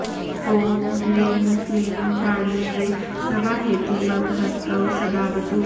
ॐ ह्रीं क्लीं वाण्यै स्वाहेति मम हस्तौ सदावतु